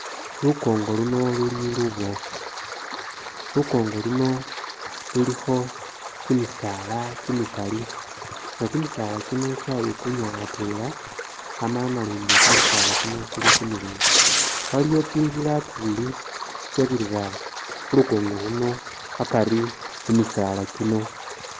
Lukongo luno luli luboofu, lukongo luno lulikho kimisaala kimikali nga kimisaala kino kyayikunya atwela amala nalundi kimisaala kino kili kimileyi waliwo tsintsila tsibili tsitsabirira khulukongo khuno akari mumisaala kino